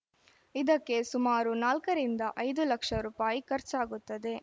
ಇದಕ್ಕೆ ಸುಮಾರು ನಾಲ್ಕರಿಂದ ಐದು ಲಕ್ಷ ರುಪಾಯಿ ಖರ್ಚಾಗುತ್ತದೆ